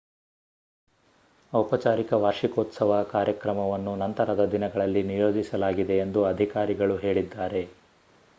ಔಪಚಾರಿಕ ವಾರ್ಷಿಕೋತ್ಸವ ಕಾರ್ಯಕ್ರಮವನ್ನು ನಂತರದ ದಿನಗಳಲ್ಲಿ ನಿಯೋಜಿಸಲಾಗಿದೆ ಎಂದು ಅಧಿಕಾರಿಗಳು ಹೇಳಿದ್ದಾರೆ